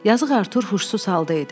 Yazıq Artur huşsuz halda idi.